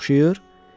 Mənə oxşayır?